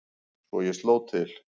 Svo ég sló til.